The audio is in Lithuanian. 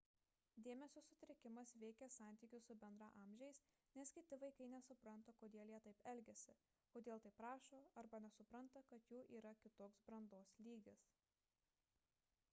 dėmesio sutrikimas veikia santykius su bendraamžiais nes kiti vaikai nesupranta kodėl jie taip elgiasi kodėl taip rašo arba nesupranta kad jų yra kitoks brandos lygis